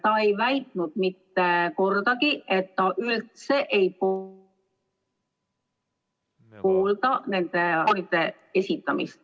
Ta ei väitnud mitte kordagi, et ta üldse ei poolda nende deklaratsioonide esitamist.